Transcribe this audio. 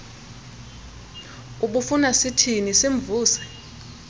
ubufuna sithini simvuse